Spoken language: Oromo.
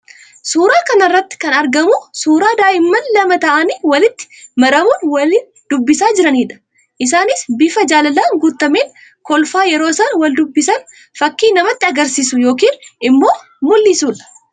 Suuraa kana irratti kan argamu suura daa'imman lama ta'anii walitti marmuun wal dubbisaa jiranii dha. Isaannis bifa jaalalaan guutameen kolfa yeroo isaan wal dubbisan fakkii namatti agarsiisu yookiin immoo mul'isuu dha.